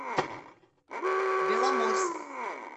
беломорск